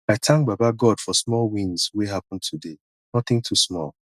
i thank baba god for small wins wey happen today nothing too small